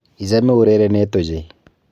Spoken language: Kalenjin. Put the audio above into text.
Ichame urerenet ochei.